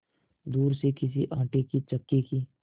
दूर से किसी आटे की चक्की की